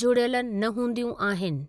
जुड़ियलु न हूंदियूं आहिनि।